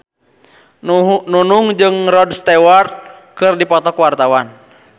Nunung jeung Rod Stewart keur dipoto ku wartawan